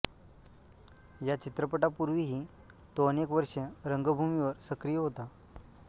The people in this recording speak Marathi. या चित्रपटापूर्वीही तो अनेक वर्षे रंगभूमीवर सक्रिय होता